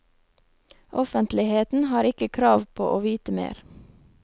Offentligheten har ikke krav på å vite mer.